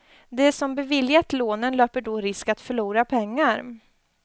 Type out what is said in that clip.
De som beviljat lånen löper då risk att förlora pengar.